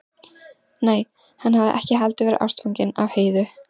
Nei, hann hafði ekki heldur verið ástfanginn af Heiðu.